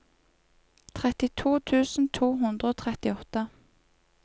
trettito tusen to hundre og trettiåtte